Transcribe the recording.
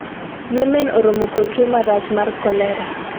Yemen oromo kod tuo marach mar kolera